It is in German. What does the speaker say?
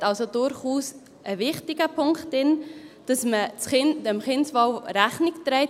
Er sieht also durchaus einen wichtigen Punkt darin, dass man dem Kindeswohl Rechnung trägt.